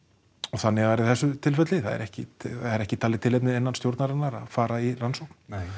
þannig var í þessu tilfelli það var ekki ekki talið tilefni innan stjórnarinnar að fara í rannsókn